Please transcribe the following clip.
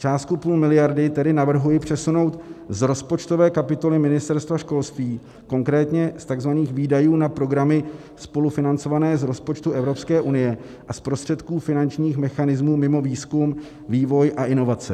Částku půl miliardy tedy navrhuji přesunout z rozpočtové kapitoly Ministerstva školství, konkrétně z tzv. výdajů na programy spolufinancované z rozpočtu EU a z prostředků finančních mechanismů mimo výzkum, vývoj a inovace.